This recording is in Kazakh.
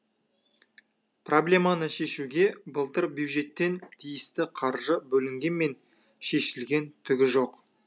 проблеманы шешуге былтыр бюджеттен тиісті қаржы бөлінгемен шешілген түгі жоқ